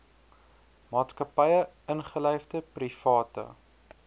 maatskappye ingelyfde private